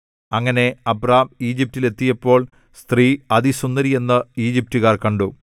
അങ്ങനെ അബ്രാം ഈജിപ്റ്റിൽ എത്തിയപ്പോൾ സ്ത്രീ അതിസുന്ദരി എന്ന് ഈജിപ്റ്റുകാർ കണ്ടു